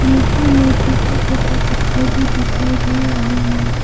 नीचे में छोटा छोटा पत्थर भी दिखाई दे रहा है।